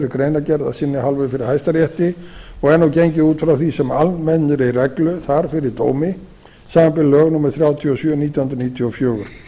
greinargerð af sinni hálfu fyrir hæstarétti og er gengið út frá því sem almennri reglu þar fyrir dómi samanber lög númer þrjátíu og sjö nítján hundruð níutíu og fjögur